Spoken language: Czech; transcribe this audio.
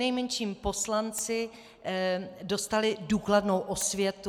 Přinejmenším poslanci dostali důkladnou osvětu.